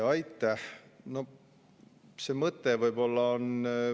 Aitäh!